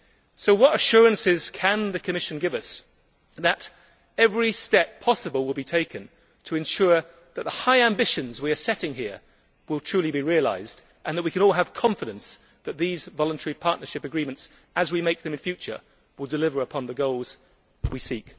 So what assurances can the Commission give us that every possible step will be taken to ensure that our high ambitions here will truly be realised, and that we can all have confidence that these voluntary partnership agreements, as we make them in future, will deliver on the goals we have set?